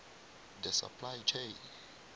the supply chain